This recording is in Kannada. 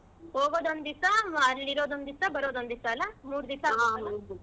ಹೋಗೋದ್ ಒಂದ್ ದಿವ್ಸಾ ಅಲ್ಲಿ ಇರೋದ್ ಒಂದ್ ದಿವ್ಸಾ ಬರೋದ್ ಒಂದ್ ದಿವ್ಸಾ ಅಲ್ಲಾ ಮೂರ್ ದಿವ್ಸಾ ?